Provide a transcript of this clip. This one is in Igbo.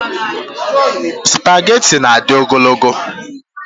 Spageti na-adị ogologo.